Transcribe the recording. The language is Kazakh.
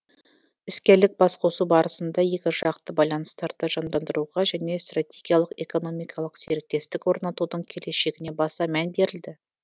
іскерлік басқосу барысында екіжақты байланыстарды жандандыруға және стратегиялық экономикалық серіктестік орнатудың келешегіне баса мән берілді